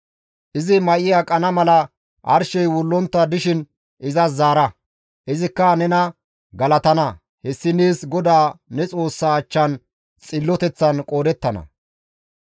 Izi may7i aqana mala arshey wullontta dishin izas zaara; izikka nena galatana; hessi nees GODAA ne Xoossaa achchan xilloteththan qoodettana.